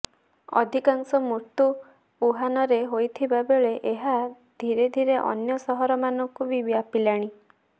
ଅଧିକାଂଶ ମୃତ୍ୟୁ ଉହାନରେ ହୋଇଥିବା ବେଳେ ଏହା ଧୀରେଧୀରେ ଅନ୍ୟ ସହରମାନଙ୍କୁ ବି ବ୍ୟାପିଲାଣି